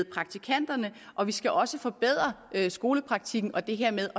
praktikanterne og vi skal også forbedre skolepraktikken og det her med